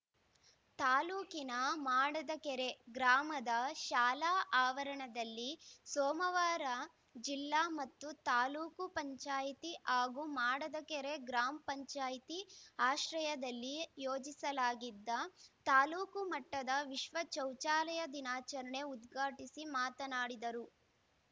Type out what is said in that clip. ತಾಲೂಕಿನ ಮಾಡದಕೆರೆ ಗ್ರಾಮದ ಶಾಲಾ ಆವರಣದಲ್ಲಿ ಸೋಮವಾರ ಜಿಲ್ಲಾ ಮತ್ತು ತಾಲೂಕು ಪಂಚಾಯಿತಿ ಹಾಗೂ ಮಾಡದಕೆರೆ ಗ್ರಾಮ್ ಪಂಚಾಯತ್ ಆಶ್ರಯದಲ್ಲಿ ಯೋಜಿಸಲಾಗಿದ್ದ ತಾಲೂಕು ಮಟ್ಟದ ವಿಶ್ವ ಚೌಚಾಲಯ ದಿನಾಚರಣೆ ಉದ್ಘಾಟಿಸಿ ಮಾತನಾಡಿದರು